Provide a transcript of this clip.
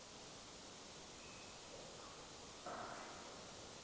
Við höldum bara okkar striki.